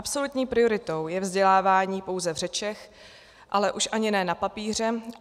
Absolutní prioritou je vzdělávání pouze v řečech, ale už ani ne na papíře.